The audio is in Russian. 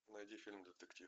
найди фильм детектив